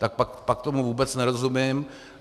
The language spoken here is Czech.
Tak pak tomu vůbec nerozumím.